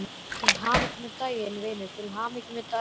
Til hamingju með daginn, vinur, til hamingju með daginn.